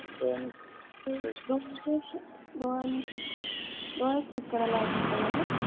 डोळा चेक करायचा आहे का तुम्हाला?